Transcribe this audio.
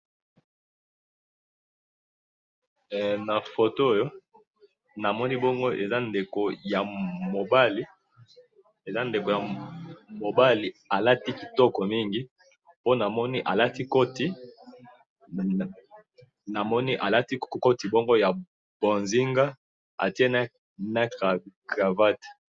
Nafoto oyo, namoni bongo eza ndeko yamobali, eza ndeko yamobali alati kitoko mingi, po namoni alati koti bongo yabonzinga atye na cravate